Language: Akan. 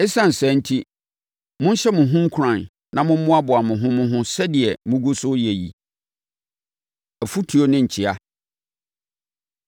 Esiane saa enti, monhyɛ mo ho nkuran na mommoaboa mo ho mo ho sɛdeɛ mogu so reyɛ yi. Afotuo Ne Nkyea